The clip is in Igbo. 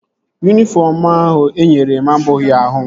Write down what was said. Yunifọm ahụ enyere m abụghị ahụ m